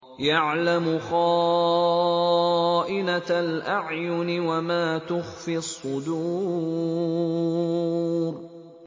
يَعْلَمُ خَائِنَةَ الْأَعْيُنِ وَمَا تُخْفِي الصُّدُورُ